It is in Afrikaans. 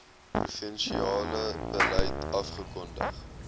provinsiale beleid afgekondig